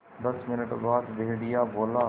दस मिनट बाद भेड़िया बोला